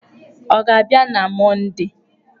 Ọ ga-abịa na Mọndee?